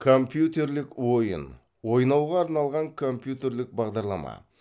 компьютерлік ойын ойнауға арналған компьютерлік бағдарлама